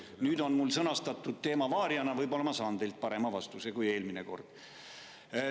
Nüüd on mul sõnastatud teema "Variana", võib-olla ma saan teilt parema vastuse kui eelmine kord.